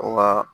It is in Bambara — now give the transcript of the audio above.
Wa